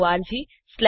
જોડાવા બદ્દલ આભાર